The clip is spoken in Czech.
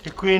Děkuji.